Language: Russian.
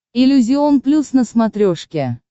иллюзион плюс на смотрешке